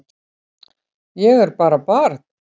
Ég er bara barn.